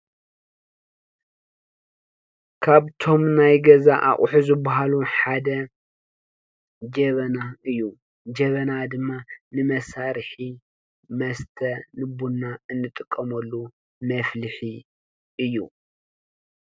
ካብቶም ናይ ገዛ ኣቑሑ ዝበሃሉ ሓደ ጀበና እዩ፡፡ ጀበና ድማ ንመሳርሒ መስተ ንቡና እንጥቀመሉ መፍልሒ እዩ፡፡